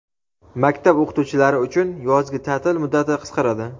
Maktab o‘qituvchilari uchun yozgi ta’til muddati qisqaradi.